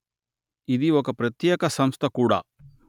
ఇది ఒక ప్రత్యేక సంస్థ కూడా